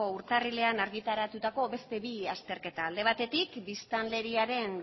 urtarrilean argitaratutako beste bi azterketa alde batetik biztanleriaren